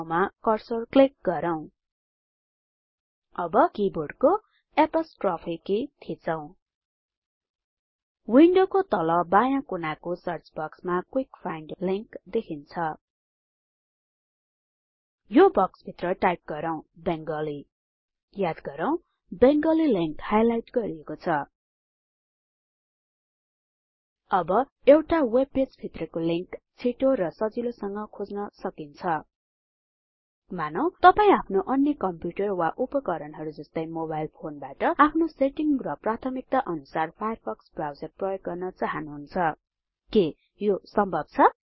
googlecoइन र इन्टर थिचौ याद गरौ अहिले कर्सर गुगले सर्च बार भित्र रहेको छ अर्को सर्चबार बाहिर पेजको कुनै ठाउँमा कर्सर क्लिक गरौ अब कीबोर्डको एपोस्ट्रोफ की थिचौ विन्डोको तल बायाँ कुनाको सर्चबक्समा क्विक फाइन्ड लिंक देखिन्छ यो बक्सभित्र टाइप गरौ बङ्गाली याद गरौ बङ्गाली लिंक हाइलाइट गरिएको छ अब एउटा वेब पेज भित्रको लिंक छिटो र सजिलोसँग खोज्न सक्नुहुन्छ मानौं तपाई आफ्नो अन्य कम्प्युटर वा उपकरणहरु जस्तै मोबाइल फोनबाट आफ्नो सेटिंग र प्राथमिकता अनुसार फायरफक्स ब्राउजर प्रयोग गर्न चाहनुहुन्छ के यो सम्भब छ